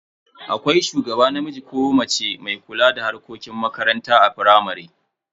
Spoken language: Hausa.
Akwai shugaba namiji ko mace mai kula da harkokin makarantar firamare.